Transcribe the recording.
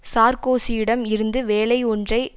சார்க்கோசியிடம் இருந்து வேலை ஒன்றை